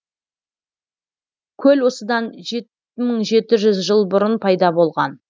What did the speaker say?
көл осыдан жеті мың жеті жүз жыл бұрын пайда болған